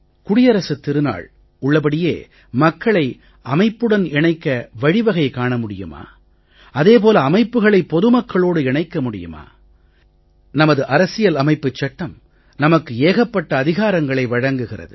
குடியரசுத் திருநாள் உள்ளபடியே மக்களை அமைப்புடன் இணைக்க வழி வகை காண முடியுமா அதே போல அமைப்புகளை பொது மக்களோடு இணைக்க முடியுமா நமது அரசியல் அமைப்புச் சட்டம் நமக்கு ஏகப்பட்ட அதிகாரங்களை வழங்குகிறது